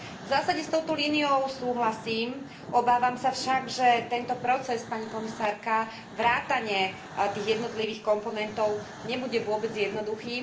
V zásade s touto líniou súhlasím, obávam sa však, že tento proces, pani komisárka, vrátane jeho jednotlivých komponentov nebude vôbec jednoduchý.